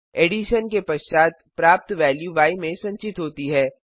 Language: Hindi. एडिशन के पश्चात प्राप्त वेल्यू य में संचित होती है